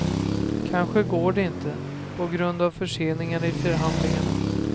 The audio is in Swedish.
Kanske går det inte, på grund av förseningar i förhandlingarna.